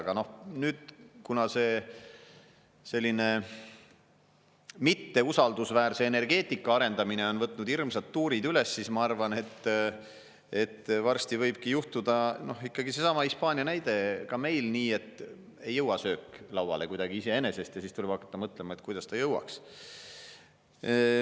Aga kuna see selline mitteusaldusväärse energeetika arendamine on võtnud hirmsad tuurid üles, siis ma arvan, et varsti võibki juhtuda ikkagi seesama Hispaania näide ka meil nii, et ei jõua söök lauale kuidagi iseenesest, ja siis tuleb hakata mõtlema, kuidas ta jõuaks.